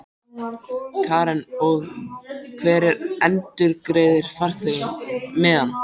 Karen: Og hver endurgreiðir farþegunum miðana?